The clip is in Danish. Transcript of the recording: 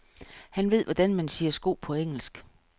Han ved, hvordan man siger sko på engelsk.